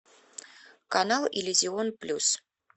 канал иллюзион плюс